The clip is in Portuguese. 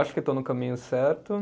Acho que estou no caminho certo.